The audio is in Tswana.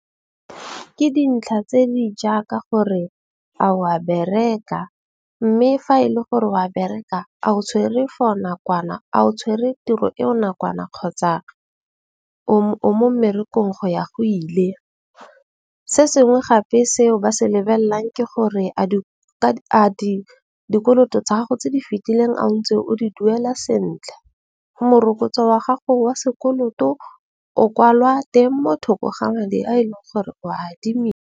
Ke dintlha tse di jaaka gore a o a bereka, mme fa e le gore o a bereka a o tshwere for nakwana a o tshwere tiro e o nakwana kgotsa o mo mmerekong go ya go ile. Se sengwe gape seo ba se lebelelang ke gore a dikoloto tsa gago tse di fitileng a ntse o di duela sentle. Morokotso wa gago wa sekoloto o kwalwa teng motho ko ga madi a e leng gore o .